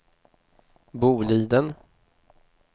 Boliden